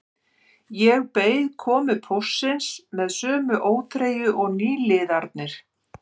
Ég beið komu póstsins með sömu óþreyju og nýliðarnir